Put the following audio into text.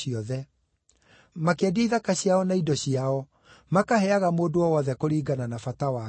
Makĩendia ithaka ciao na indo ciao, makaheaga mũndũ o wothe kũringana na bata wake.